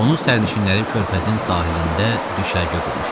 Onun sərnişinləri körfəzin sahilində düşərgə qurmuşdular.